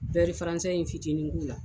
in fitinin k'u la.